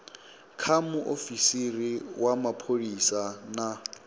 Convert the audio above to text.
kha muofisiri wa mapholisa na